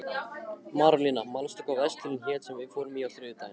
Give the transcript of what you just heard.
Marólína, manstu hvað verslunin hét sem við fórum í á þriðjudaginn?